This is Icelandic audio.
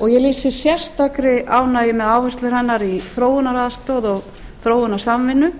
og ég lýsi sérstakri ánægju með áherslur hennar í þróunaraðstoð og þróunarsamvinnu